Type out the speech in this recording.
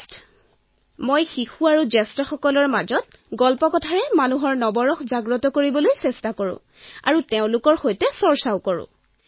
মই যেতিয়া কাম কৰো তেতিয়া শিশু আৰু ডাঙৰ লোকৰ সৈতে কাহিনীৰ দ্বাৰা মনুষ্যৰ নবৰসক জাগ্ৰত কৰিবলৈ প্ৰয়াস কৰো আৰু তেওঁলোকৰ সৈতে চৰ্চাও কৰো